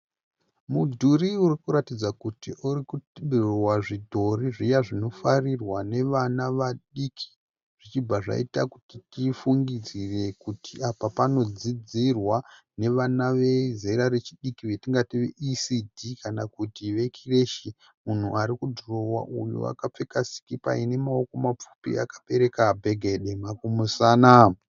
Mudhuri urikuratidza kuti urikudhirowewa zvidhori zviya zvinofarirwa nevana vadiki. Zvichibva zvaita kuti tifungidzire kuti apa panodzidzirwa nevana vezera rechidiki vetingati ve ECD kana kuti vekireshi. Munhu arikudhirowa uyu akapfeka sikipa ine mavoko mapfupi akabereka bhege dema kumusana.